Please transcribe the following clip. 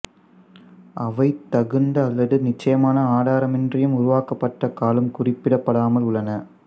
அவை தகுந்த அல்லது நிச்சயமான ஆதாரமின்றியும் உருவாக்கப்பட்ட காலம் குறிப்பிடப்படாமலும் உள்ளன